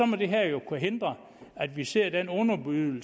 må det her jo kunne hindre at vi ser den underbydning